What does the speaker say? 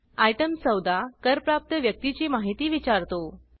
item 14 करप्राप्त व्यक्तीची माहिती विचारतो